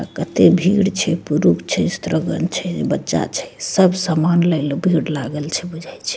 अ कते भीड़ छै पुरुख छै स्त्रीगन छै बच्चा छै सब सामान लयले भीड़ लागल छै बुझाई छै ।